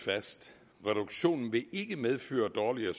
medføre